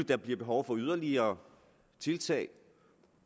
der bliver behov for yderligere tiltag